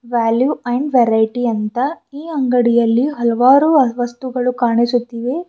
Value and variety ಅಂತ ಈ ಅಂಗಡಿಯಲ್ಲಿ ಹಲವಾರು ವಸ್ತುಗಳು ಕಾಣಿಸುತ್ತಿವೆ.